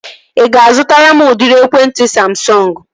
Ị ga-azụtara m udịri ekwentị Samsọngu?